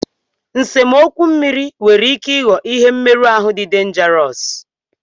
Nsemokwu mmiri nwere ike ịghọ ihe mmeru ahu dị denjarọsu.